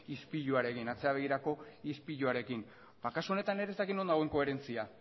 ispiluarekin atzera begirako ispiluarekin ba kasu honetan ere ez dakit non dagoen koherentzia